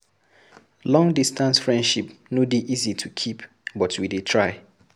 Long-distance friendship no dey easy to keep but we dey try.